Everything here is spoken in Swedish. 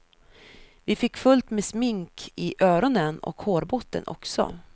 Vi fick fullt med smink i öronen och hårbotten också.